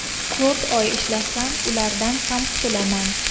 To‘rt oy ishlasam, ulardan ham qutulaman.